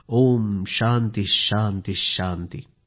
ओम शान्तिः शान्तिः शान्तिः